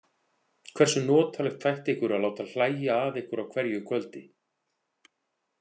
Hversu notalegt þætti ykkur að láta hlæja að ykkur á hverju kvöldi?